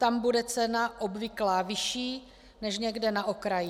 Tam bude cena obvyklá vyšší než někde na okraji.